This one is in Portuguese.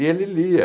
E ele lia.